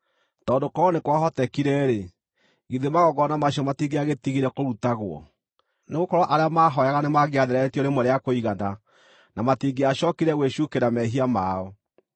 Tondũ korwo nĩ kwahotekire-rĩ, githĩ magongona macio matingĩagĩtigire kũrutagwo? Nĩgũkorwo arĩa maahooyaga nĩmangĩatheretio rĩmwe rĩa kũigana, na matingĩacookire gwĩcuukĩra mehia mao.